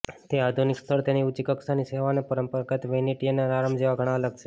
તે આધુનિક સ્થળ તેની ઊંચી કક્ષાની સેવા અને પરંપરાગત વેનેટીયન આરામ જેવા ઘણા અલગ છે